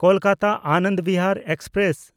ᱠᱳᱞᱠᱟᱛᱟ–ᱟᱱᱚᱱᱫ Bihar express